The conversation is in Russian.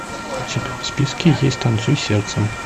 у тебя в списке есть танцуй сердцем